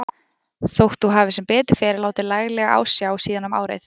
Þótt þú hafir sem betur fer látið laglega á sjá síðan um árið.